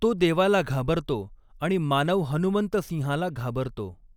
तो देवाला घाबरतो आणि मानव हनुमंत सिंहाला घाबरतो.